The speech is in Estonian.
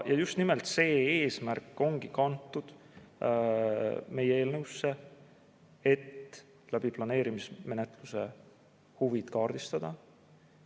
Ja just nimelt see eesmärk ongi kantud meie eelnõusse, et planeerimismenetluse abil huvid kaardistada.